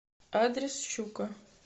адрес щука